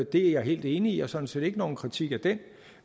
det er jeg helt enig i jeg har sådan set ikke nogen kritik af den